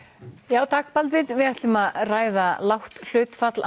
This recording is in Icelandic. já takk Baldvin við ætlum að ræða lágt hlutfall